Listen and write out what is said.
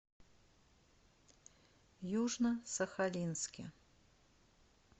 южно сахалинске